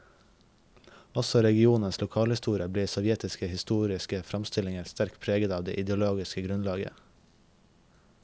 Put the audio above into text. Også regionens lokalhistorie ble i sovjetiske historiske framstillinger sterkt preget av det ideologiske grunnlaget.